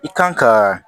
I kan ka